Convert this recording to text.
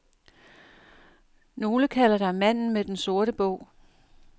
Nogle kalder dig manden med den sorte bog.